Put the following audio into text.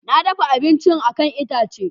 Na dafa abincin a kan itace.